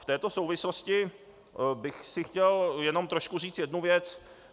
V této souvislosti bych si chtěl jenom trošku říci jednu věc.